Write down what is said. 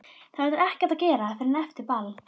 Það verður ekkert að gera fyrr en eftir ball.